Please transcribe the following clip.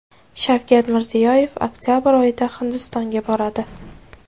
Shavkat Mirziyoyev oktabr oyida Hindistonga boradi.